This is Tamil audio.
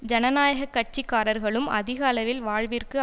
ஜனநாயக கட்சிக்காரர்களும் அதிக அளவில் வாழ்விற்கு